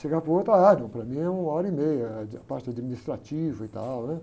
Chegava para o outro, ah, não, para mim é uma hora e meia, é de, a parte da administrativa e tal, né.